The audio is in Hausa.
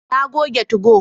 Na goge 2go